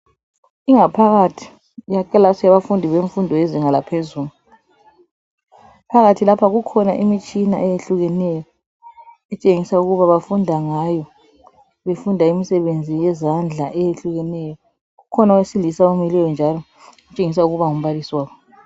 Ingaphakathi yekilasi yabafundi bemfundo yezinga laphezulu, phakathi lapha kukhona imtshina eyehlukeneyo, etshengisa ukuba bafunda ngayo, befunda imisebenzi yezandla eyehlukeneyo, kukhona owesilisa omileyo njalo okutshengisa ukuba ngumabalisi wabo.